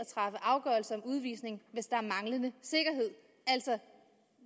afgørelse om udvisning hvis der er manglende sikkerhed altså